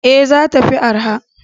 Ee, za ta fi arha.